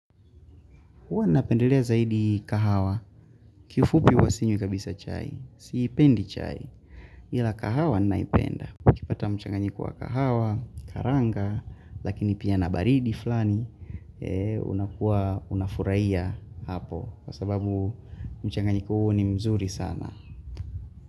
Huwa napendelea zaidi kahawa, kifupi huwa sinywi kabisa chai, siipendi chai, ila kahawa naipenda. Ukipata mchanganyiko wa kahawa, karanga, lakini pia na baridi fulani, unakuwa unafurahia hapo, kwa sababu mchanganyiko huu ni mzuri sana.